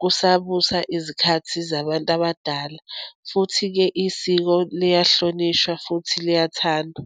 kusabusa izikhathi zabantu abadala. Futhi-ke isiko liyahlonishwa, futhi liyathandwa.